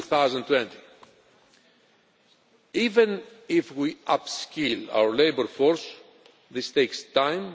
2020. Even if we upskill our labour force, this takes time.